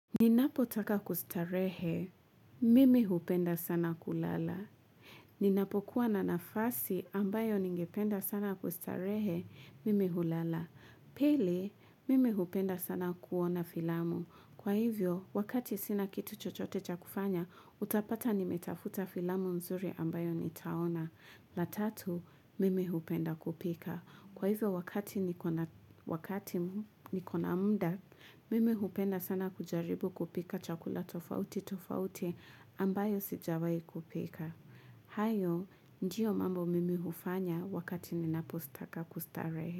Ninapotaka kustarehe, mimi hupenda sana kulala. Ninapokuwa na nafasi ambayo ningependa sana kustarehe, mimi hulala. Pili, mimi hupenda sana kuona filamu. Kwa hivyo, wakati sina kitu chochote cha kufanya, utapata nimetafuta filamu mzuri ambayo nitaona. La tatu, mimi hupenda kupika. Kwa hivyo wakati niko na mda, mim hupenda sana kujaribu kupika chakula tofauti tofauti ambayo sijawahi kupika. Hayo, ndiyo mambo mimi hufanya wakati ninapostaka kustarehe.